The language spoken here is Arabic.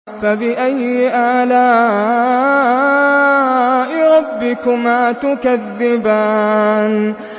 فَبِأَيِّ آلَاءِ رَبِّكُمَا تُكَذِّبَانِ